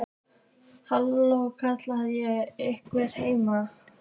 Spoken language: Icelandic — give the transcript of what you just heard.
Halló, kalla ég, er einhver heima?